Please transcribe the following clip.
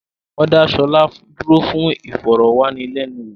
Wọ́n dá Ṣọlá dúró fún ìfọ̀rọ̀ wá ni lẹ́nu wò